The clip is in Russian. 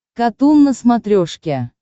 катун на смотрешке